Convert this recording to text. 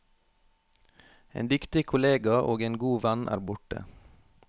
En dyktig kollega og en god venn er borte.